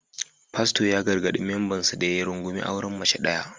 Fasto ya gargadi membansa da ya rungumi auren mace daya